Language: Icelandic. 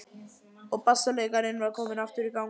Og bassaleikarinn var aftur kominn í gang.